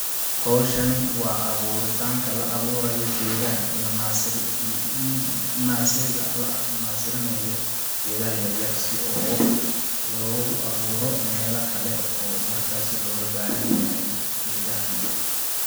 Hawshani waa aburitaanka la awuurayo geedaha iyo naasiri in naasiriga la naasiri nayo geedaha yaryar si oo loogu awuuro meela kale oo markaasi looga baahan yahay geedahani.